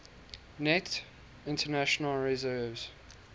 net international reserves